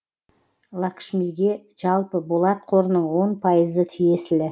лакшмиге жалпы болат қорының он пайызы тиесілі